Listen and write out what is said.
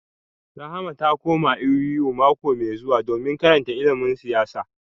Rahama za ta koma A.B.U. mako mai zuwa domin karanta ilimin siyasa